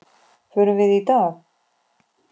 Förum við í dag?